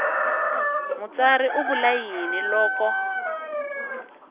mutsari u vula yini loko